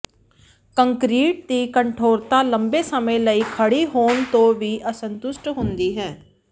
concrete ਦੀ ਕਠੋਰਤਾ ਲੰਮੇ ਸਮੇਂ ਲਈ ਖੜ੍ਹੀ ਹੋਣ ਤੋਂ ਵੀ ਅਸੰਤੁਸ਼ਟ ਹੁੰਦੀ ਹੈ